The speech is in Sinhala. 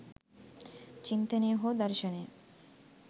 චින්තනය හෝ දර්ශනය